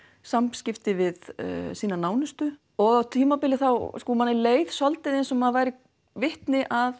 samskipti við sína nánustu og á tímabili þá sko manni leið svolítið eins og maður væri vitni að